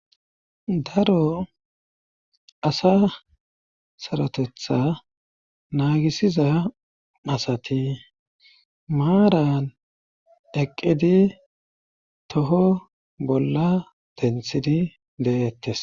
Daro asa sarotetha naagisiza asati maaran eqqidi toho bolla denthidi de7ettes.